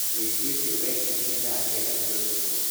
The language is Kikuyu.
Wũici ũcio wekĩkire thaa kenda cia ũtukũ.